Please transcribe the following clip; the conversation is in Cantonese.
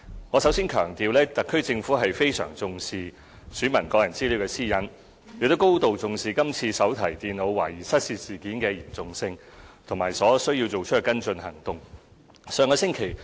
我首先要強調，特區政府非常重視選民的個人私隱，亦深明今次手提電腦懷疑失竊事件的嚴重性和知悉所需要作出的跟進行動。